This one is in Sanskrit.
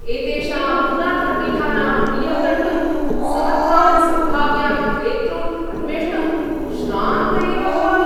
एतेषां पुरातनपीठानां मूल्यं द्रष्टुं समर्थान् सम्भाव्यान् क्रेतॄन् अन्वेष्टुम् श्रान्त एव भवामि।